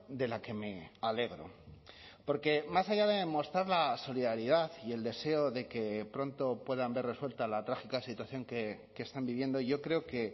de la que me alegro porque más allá de mostrar la solidaridad y el deseo de que pronto puedan ver resuelta la trágica situación que están viviendo yo creo que